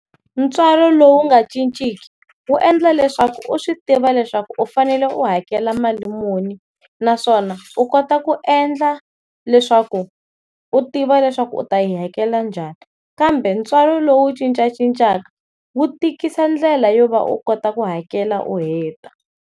Ntswalo lowu nga cinciki wu endla leswaku u swi tiva leswaku u fanele u hakela mali muni naswona u kota ku endla leswaku u tiva leswaku u ta yi hakela njhani, kambe ntswalo lowu cincacincaka wu tikisa ndlela yo va u kota ku hakela u heta.